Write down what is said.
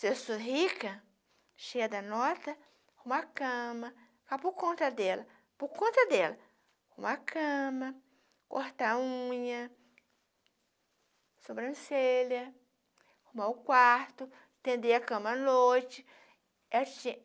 Se eu sou rica, cheia da nota, uma cama, cá por conta dela, por conta dela, uma cama, cortar a unha, sobrancelha, arrumar o quarto, atender a cama à noite.